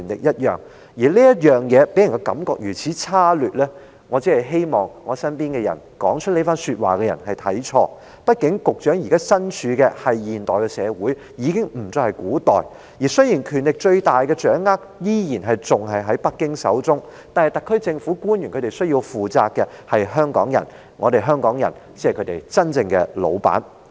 他予人如此差劣的感覺，我只希望是在我身邊說出這番話的人看錯，畢竟局長現時身處的不再是古代，而是現代社會，雖然最大權力依然掌握在北京手中，但特區政府官員還須向香港人問責，香港人才是他們真正的老闆。